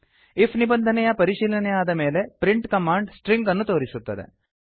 IF ನಿಬಂಧನೆಯ ಪರಿಶೀಲನೆಯಾದ ಮೇಲೆ ಪ್ರಿಂಟ್ ಕಮಾಂಡ್ ಸ್ಟ್ರಿಂಗ್ ಅನ್ನು ತೋರಿಸುತ್ತದೆ